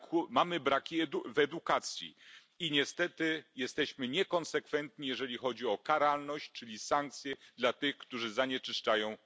Mamy braki w edukacji i niestety jesteśmy niekonsekwentni, jeżeli chodzi o karalność, czyli sankcje dla tych, którzy zanieczyszczają Ziemię.